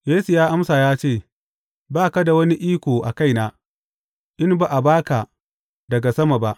Yesu ya amsa ya ce, Ba ka da wani iko a kaina, in ba a ba ka daga sama ba.